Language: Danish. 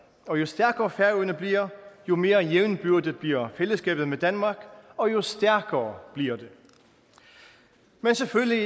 og jo stærkere færøerne bliver jo mere jævnbyrdigt bliver fællesskabet med danmark og jo stærkere bliver det men selvfølgelig